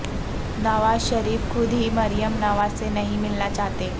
نوازشریف خود ہی مریم نواز سے نہیں ملنا چاہتے